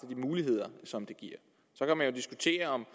de muligheder som det giver så kan man diskutere om